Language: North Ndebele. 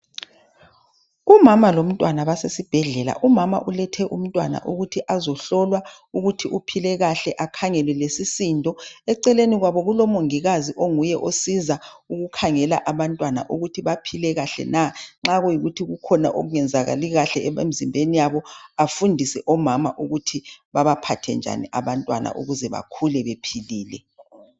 Umama lomntwana basesibhedlela. Umama ulethe umntwana ukuthi azehlolwa ukuthi uphile kahle akhangelwe lesisindo. Eceleni kwabo kulomongikazi onguye osiza ukukhangela abantwana ukuthi baphile kahle na nxa kuyikuthi kukhona okungenzakali kahle emizimbeni yabo afundise omama ukuthi babaphathe njani abantwana ukuze bakhule bephilile.